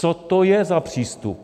Co to je za přístup?